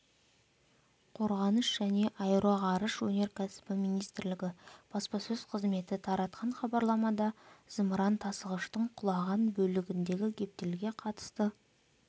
қорғаныс және аэроғарыш өнеркәсібі министрлігі баспасөз қызметі таратқан хабарламада зымыран тасығыштың құлаған бөлігіндегі гептилге қатысты